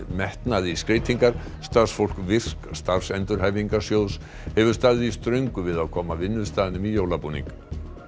metnað í skreytingar starfsfólk virk starfsendurhæfingarsjóðs hefur staðið í ströngu við að koma vinnustaðnum í jólabúning